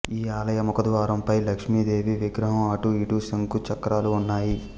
ఈ ఆలయ ముఖ ద్వారం పై లక్ష్మీ దేవి విగ్రహం అటు ఇటు శంకు చక్రాలు ఉన్నాయి